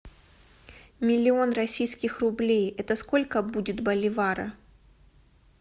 миллион российских рублей это сколько будет боливара